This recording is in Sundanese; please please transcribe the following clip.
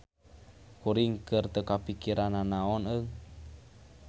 Kuring keur teu kapikiran nanaon eung.